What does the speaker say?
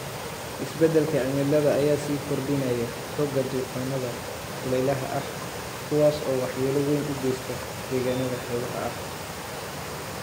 Isbeddelka cimilada ayaa sii kordhinaya xoogga duufaannada kuleylaha ah, kuwaas oo waxyeello weyn u geysta deegaannada xeebaha ah.